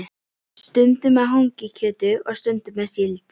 Stundum með hangikjöti og stundum með síld.